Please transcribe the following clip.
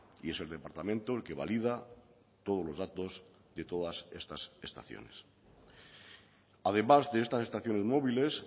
y es el departamento el que valida todos los datos de todas estas estaciones además de estas estaciones móviles